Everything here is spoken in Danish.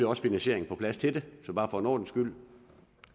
også finansieringen på plads til det så bare for en ordens skyld